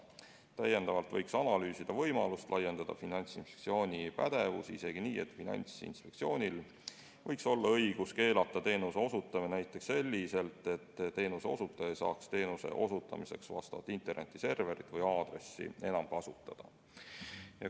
Täiendavalt võiks analüüsida võimalust laiendada Finantsinspektsiooni pädevust isegi nii, et Finantsinspektsioonil oleks õigus keelata teenuse osutamine näiteks selliselt, et teenuse osutaja ei saaks teenuse osutamiseks vastavat internetiserverit või -aadressi enam kasutada.